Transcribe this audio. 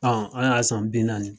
An y'a san bi naani.